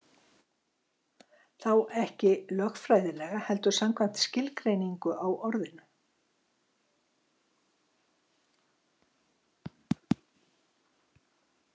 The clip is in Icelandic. Þá ekki lögfræðilega, heldur samkvæmt skilgreiningunni á orðinu.